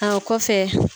A kɔfɛ